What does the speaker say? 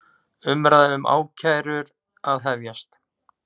Umræða um ákærur að hefjast